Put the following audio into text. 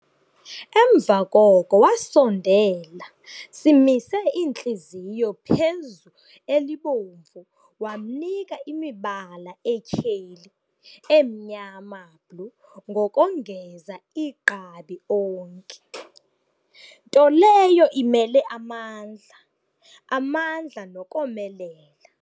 Emva koko wasondela simise iintliziyo phezu elibomvu wamnika imibala etyheli emnyama blue ngokongeza igqabi onki, nto leyo imele amandla, amandla nokomelela.